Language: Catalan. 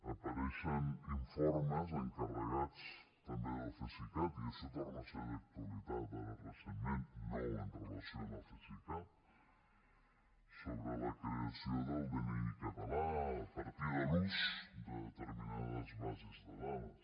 apareixen informes encarregats també del cesicat i això torna a ser d’actualitat ara recentment no amb relació al cesicat sobre la creació del dni català a partir de l’ús de determinades bases de dades